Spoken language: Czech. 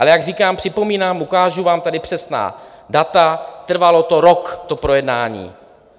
Ale jak říkám, připomínám, ukážu vám tady přesná data, trvalo to rok, to projednání.